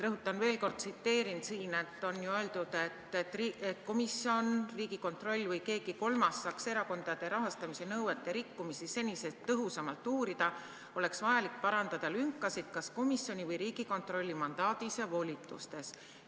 Rõhutan veel kord, et siin on ju öeldud: "Et komisjon, Riigikontroll või keegi kolmas saaks erakondade rahastamise nõuete rikkumisi senisest tõhusamalt uurida, oleks vajalik parandada lünkasid kas komisjoni või Riigikontrolli mandaadis ja volitustes.